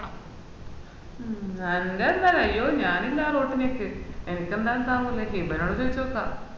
മ്മ് നല്ലണ്ട അയ്യോ ഞാനില്ലാ ആ റോട്ടിലേക്ക് എനിക്ക് എന്തായാലും ഇതാവൂല ഹിബനോട് ചോയ്ച്ചൊക്കെ